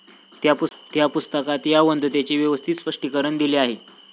त्या पुस्तकात या वदंतेचे व्यवस्थित स्पष्टीकरण दिले आहे.